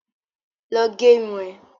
Lọ gerun ẹ!